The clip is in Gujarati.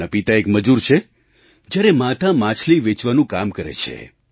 તેમના પિતા એક મજૂર છે જ્યારે માતા માછલી વેચવાનું કામ કરે છે